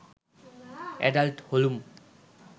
adult হলুম